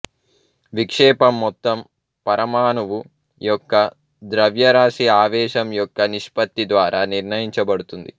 విక్షేపం మొత్తం పరమాణువు యొక్క ద్రవ్యరాశి ఆవేశం యొక్క నిష్పత్తి ద్వారా నిర్ణయించబడుతుంది